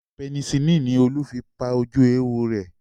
Penicillini ni Olú fi pa ojú éwo rẹ̀